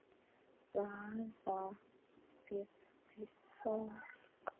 Hvaða fólk?